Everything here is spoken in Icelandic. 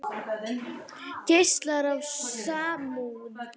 Geislar af samúð.